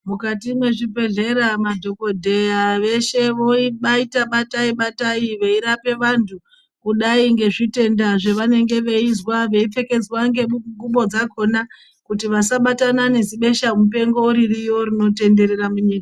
Mukati mwezvibhedhlera madhokodheya eshe vobaita batai batai veirape vantu kudai ngezvitenda zvavanenge veizwa vei pfekedzwa ngengubo dzakona vasabatana nezibesha mupengo ririyo rinotenderera munyika.